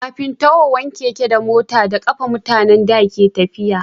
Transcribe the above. kafin tahowan keke da mota da kafa mutanen da ke tafiya